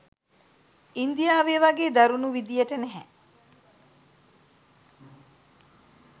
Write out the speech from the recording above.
ඉන්දියාවේ වගේ දරුණු විධියට නැහැ.